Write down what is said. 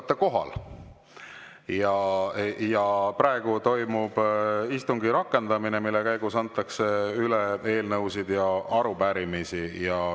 Te olete kohal ja praegu toimub istungi rakendamine, mille käigus antakse üle eelnõusid ja arupärimisi.